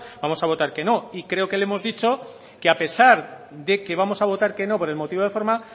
vamos a votar que no y creo que le hemos dicho que a pesar de que vamos a votar que no por el motivo de forma